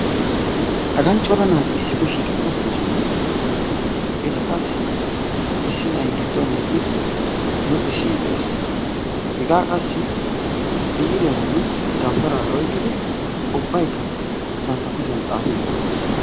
hagan cora naati issipe shiiqidi de'ees, hagan issinay giduen eqqidi luxesiidi des, hega qassi biiriya dawutaraara ekkidi banta kushiyan xaafiidi de'oososna.